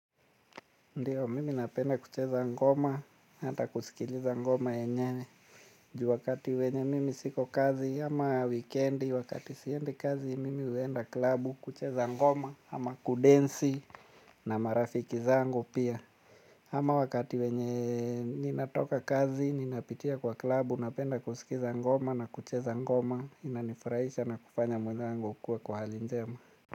Ndiyo, mimi napenda kucheza ngoma, hata kusikiliza ngoma yenyewe. Ju wakati wenye mimi siko kazi, ama wikendi, wakati siendi kazi, mimi huenda klabu, kucheza ngoma, ama kudensi, na marafiki zangu pia. Ama wakati wenye ninatoka kazi, ninapitia kwa klabu, napenda kusikiza ngoma, na kucheza ngoma, inanifurahisha na kufanya mwezangu kuwa kwa halinjema.